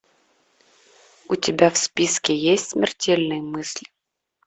у тебя в списке есть смертельные мысли